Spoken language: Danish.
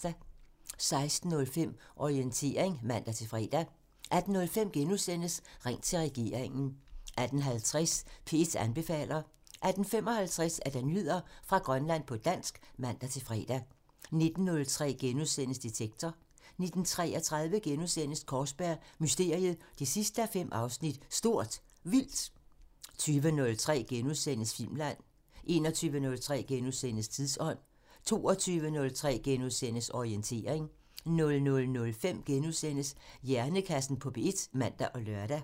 16:05: Orientering (man-fre) 18:05: Ring til regeringen *(man) 18:50: P1 anbefaler (man-fre) 18:55: Nyheder fra Grønland på dansk (man-fre) 19:03: Detektor *(man) 19:33: Kaarsberg Mysteriet 5:5 – Stort Vildt * 20:03: Filmland *(man) 21:03: Tidsånd *(man) 22:03: Orientering *(man-fre) 00:05: Hjernekassen på P1 *(man og lør)